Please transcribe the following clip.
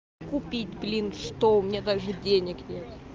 купить плинтус что у меня даже денег нет